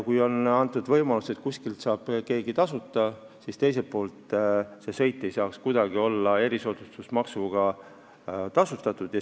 Kui on antud võimalus, et kuskil saab keegi tasuta, siis teiselt poolt ei tohiks see sõit kuidagi olla erisoodustusmaksuga maksustatud.